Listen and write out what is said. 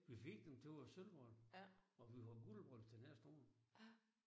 Vi fik dem til vores sølvbryllup. Og vi har guldbryllup til næste år